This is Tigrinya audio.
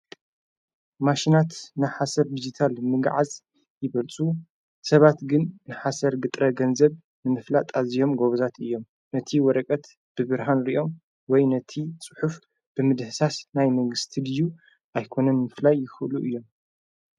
ማሽናት ንሓሰር ዲጅታል ምግዓዝ ይበልፁ ሰባት ግን ንሓሰር ግጥረ ገንዘብ ንምፍላ ጣዚዮም ጐብዛት እዮም ነቲ ወረቀት ብብርሃንርዮም ወይ ነቲ ጽሑፍ ብምድሕሳስ ናይ መግሥቲ ድዩ ኣይኮነም ምፍላይ ይኽሉ እዮም።